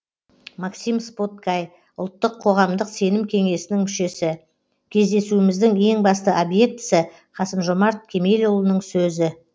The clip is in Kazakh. максим споткай ұлттық қоғамдық сенім кеңесінің мүшесі кездесуіміздің ең басты объектісі қасым жомарт кемелұлының сөзі